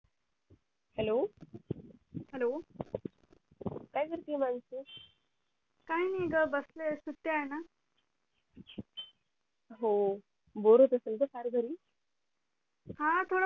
hellohello काय करतीये काय नाय ग बसलेये सुट्ट्या आहे न हो बोर होत असेल गं फार घरी हा थोडं